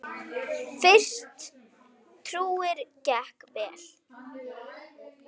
Fyrsti túrinn gekk vel.